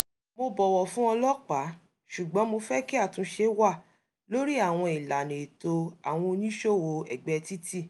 mo bọ̀wọ̀ fún ọlọ́pàá ṣùgbọ́n mo fẹ́ kí àtúnṣe wà lórí àwọn ìlànà ẹ̀tọ́ àwọn onísòwòó ẹ̀gbẹ́ títì